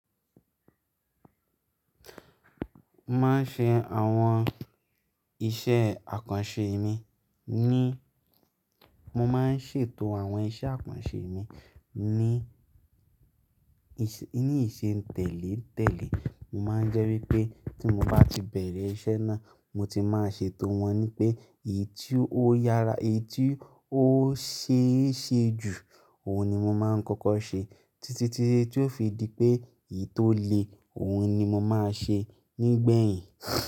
Máa ń ṣe àwọn iṣẹ́ àkànṣe mi ní, mo máa ń ṣètò àwọn iṣẹ́ àkànṣe mi ní, ní ìṣe tẹ̀lé-tẹ̀lé. Mo máa ń jẹ́ wípé tí mo bá ti bẹ̀rẹ̀ iṣẹ́ náà, mo ti máa ṣètò wọn ni pé èyí tí ó yára, èyí tí ó ṣe é ṣe jù, òun ni mo máa ń kọ́kọ́ ṣe títí tí èyí tí ó fi di pé èyí tó le, òun ni mo máa ṣe nígbẹ̀yìn.